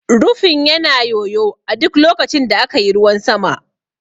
Rufin yana yoyo a duk lokacin da aka yi ruwan sama.